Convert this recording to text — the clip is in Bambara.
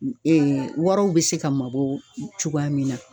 waraw be se ka mabɔ cogoya min na.